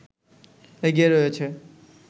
এগিয়ে রয়েছে